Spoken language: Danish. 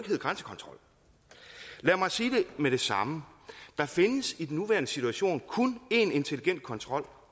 hedde grænsekontrol lad mig sige det med det samme der findes i den nuværende situation kun én intelligent kontrol